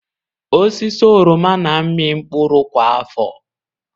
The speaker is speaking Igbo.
Osisi oroma na-amị mkpụrụ kwa afọ.